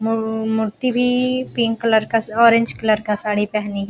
मुरर मूर्ति भी pink colour का ऑरेंज कलर का साड़ी पेहनी --